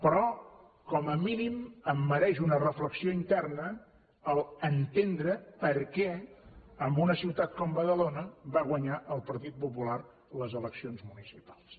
però com a mínim em mereix una reflexió interna entendre perquè en una ciutat com badalona va guanyar el pp les eleccions municipals